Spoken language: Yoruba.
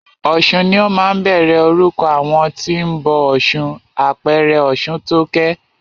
Ọ̀sun ni ó máa ń bẹ̀rẹ̀ orúkọ àwọn tí o ń bọ ọ̀ṣun, àpẹẹrẹ Ọ̀ṣuntókẹ́.